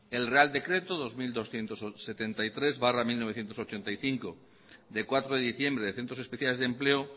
el real decreto dos mil doscientos setenta y tres barra mil novecientos ochenta y cinco de cuatro de diciembre de centros especiales de empleo